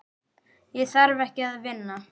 Ég þarf ekki að vinna.